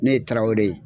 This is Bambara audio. Ne ye tarawelele ye